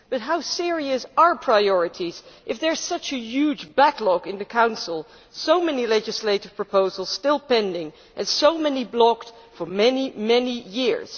But how serious are priorities if there is such a huge backlog in the Council, so many legislative proposals still pending and so many blocked for many, many years?